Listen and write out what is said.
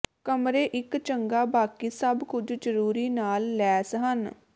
ਕਮਰੇ ਇੱਕ ਚੰਗਾ ਬਾਕੀ ਸਭ ਕੁਝ ਜ਼ਰੂਰੀ ਨਾਲ ਲੈਸ ਹਨ